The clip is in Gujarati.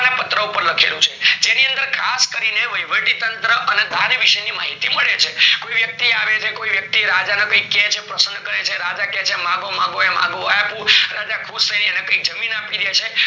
તાંબા નાં પત્ર પર લખેલું છે જેની અંદર ખાસ કરી ને વહીવટી તંત્ર અને ભારવીશ ની માહિતી મળે છે કોઈ વ્યક્તિ આવે ને કોઈ વ્યક્તિ રાજા ને કાઈક કહે છે ને પ્રસન્ન કરે છે રાજા કહે છે માંગો માંગો એ માંગો એ આપું રજા ખુશ થઇ એને કાઈક જમીન આપી ડે છે